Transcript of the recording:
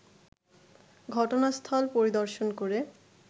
ঘটনাস্থল পরিদর্শন করে